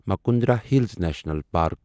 Mukundra Hills National park